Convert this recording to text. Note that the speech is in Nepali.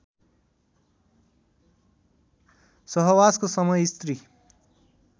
सहवासको समय स्त्री